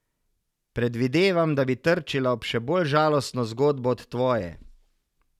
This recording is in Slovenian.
Predvidevam, da bi trčila ob še bolj žalostno zgodbo od tvoje.